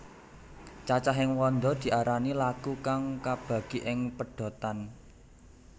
Cacahing wanda diarani laku kang kabagi ing pedhotan